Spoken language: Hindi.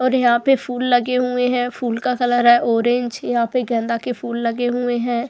और यहां पे फूल लगे हुए हैं फूल का कलर है ऑरेंज यहां पे गेंदा के फूल लगे हुए है।